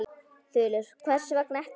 Þulur: Hvers vegna ekki?